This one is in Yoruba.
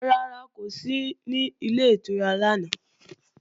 Rárá, kò sí ní Ilé ìtura lánàá